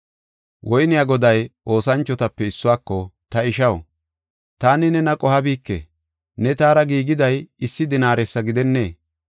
“Woyniya goday oosanchotape issuwako, ‘Ta ishaw, taani nena qohabike; ne taara giigiday issi dinaaresa gidennee?